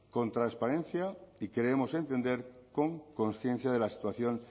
con transparencia y creemos entender con conciencia de la situación